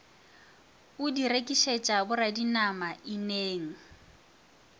o di rekišetša boradinama ineng